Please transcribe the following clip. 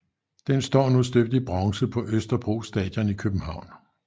Den står nu støbt i bronze på Østerbro Stadion i København